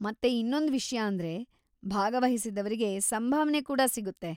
ಮತ್ತೆ ಇನ್ನೊಂದ್‌ ವಿಷ್ಯ ಅಂದ್ರೆ, ಭಾಗವಹಿಸಿದವ್ರಿಗೆ ಸಂಭಾವನೆ ಕೂಡ ಸಿಗುತ್ತೆ.